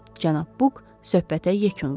Cənab Buk söhbətə yekun vurdu.